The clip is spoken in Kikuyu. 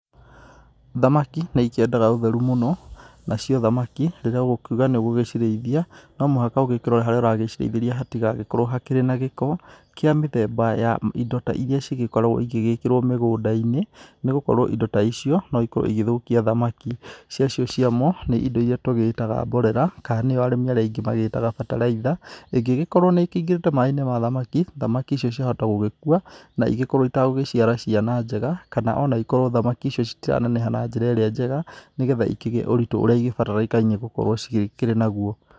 Thamaki nĩ ikĩendaga ũtheru mũno, nacio thamaki rĩrĩa ũgũkiuga nĩ ũgũcirĩithia no muhaka ũgĩkirore harĩa ũragĩcirĩithĩria hatigagikorwo harĩ na gĩko kĩa mĩthemba ya indo ta iria cĩkoragwo igĩkirwo mĩgũnda-inĩ, nĩ gũkorwo indo ta icio no ikorwo cigĩthũkia thamaki, cĩa cio cĩamo nĩ indo irĩa tũgĩtaga mborera kana arĩa arĩmĩ aingĩ maciĩtaga bataraitha, ĩngĩkorwo nĩĩkĩingĩrĩte mai-inĩ ma thamaki, thamaki icio ciahota gũgikua na igĩkorwo ĩtagũciara ciana njega, kana onaikorwo thamaki icio citiraneneha na njĩra ĩrĩa njega, nĩgetha ikĩgĩe ũritũ ũrĩa igĩbatara gũkorwo ciĩ naguo.